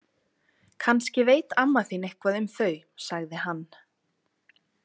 Kannski veit amma þín eitthvað um þau, sagði hann.